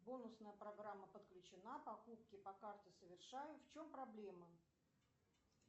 бонусная программа подключена покупки по карте совершаю в чем проблема